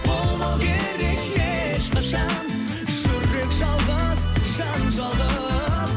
болмау керек ешқашан жүрек жалғыз жан жалғыз